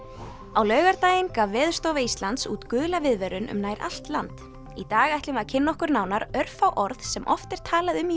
á laugardaginn gaf Veðurstofa Íslands út gula viðvörun um nær allt land í dag ætlum við að kynna okkur nánar örfá orð sem oft er talað um í